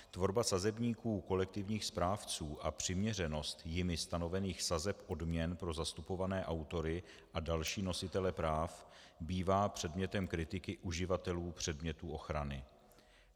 Tvorba sazebníků kolektivních správců a přiměřenost jimi stanovených sazeb odměn pro zastupované autory a další nositele práv bývá předmětem kritiky uživatelů předmětu ochrany.